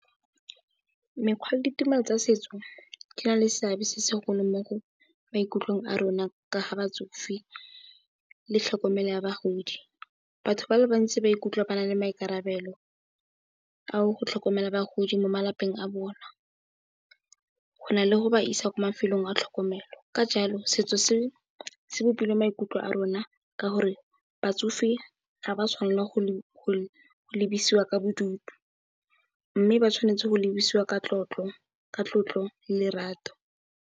Mekgwa le ditumelo tsa setso di na le seabe se segolo mo maikutlong a rona ka batsofe le tlhokomelo ya bagodi. Batho ba le bantsi ba ikutlwa ba na le maikarabelo a go tlhokomela bagodi mo malapeng a bona go na le go ba isa ko mafelong a tlhokomelo. Ka jalo setso se bopile maikutlo a rona ka gore batsofe ga ba tshwanelwa go lebiswa ka bodutu mme, ba tshwanetse go lebogiwa ka tlotlo le lerato.